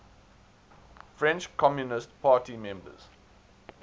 french communist party members